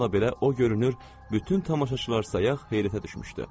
Bununla belə o görünür, bütün tamaşaçılar sayaq heyrətə düşmüşdü.